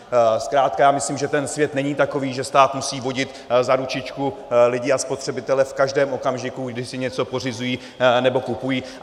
Zkrátka, já myslím, že ten svět není takový, že stát musí vodit za ručičku lidi a spotřebitele v každém okamžiku, když si něco pořizují nebo kupují.